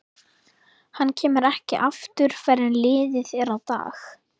Hann kemur ekki aftur fyrr en liðið er á dag.